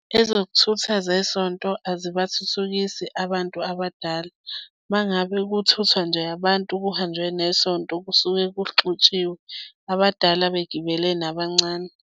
Ezokuthutha zesonto azibathuthukisi abantu abadala. Uma ngabe kuthuthwa nje abantu kuhanjwe nesonto kusuke kuxutshiwe, abadala begibele nabancane.